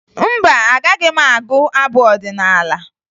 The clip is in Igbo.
Mba, agaghị m agụ abụ ọdịnaala